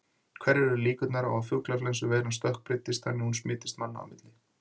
Hverjar eru líkurnar á að fuglaflensuveiran stökkbreytist þannig að hún smitist manna á milli?